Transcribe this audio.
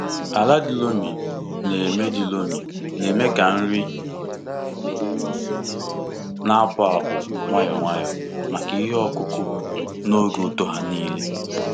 Ala di loamy na-eme di loamy na-eme ka nri na-apụpụ nwayọọ nwayọọ maka ihe ọkụkụ n'oge uto ha niile.